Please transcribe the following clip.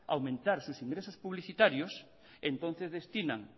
a aumentar sus ingresos publicitarios entonces destinan